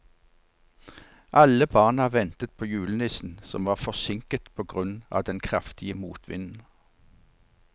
Alle barna ventet på julenissen, som var forsinket på grunn av den kraftige motvinden.